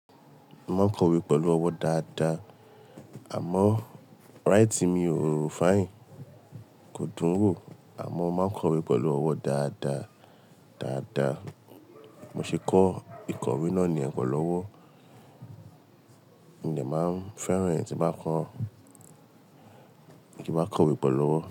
Mo máa ń kọ̀wé pẹ̀lú ọwọ́ dáadáa, àmọ́ writing mi ò finè, kò dùn ún wò àmọ́ mo máa ń kọ̀wé pẹ̀lú ọwọ́ dáadáa, dáadáa. Mo ṣe kọ́, ìkọ̀wé náà niyẹ̀n pe lọ́wọ́. Mo dẹ máa ń fẹ́ràn ẹ tí nbá kọ, tí nbá kọ̀wé pe lọ́wọ́